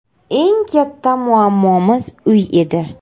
Eng katta muammomiz uy edi.